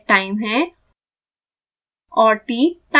l dead time है और